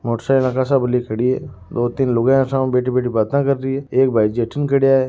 मोटरसाइकिल खड़ी है दो तीन लुगाया सामे बैठी बैठी बात कर री एक भाईजी अठीने खड़ा है।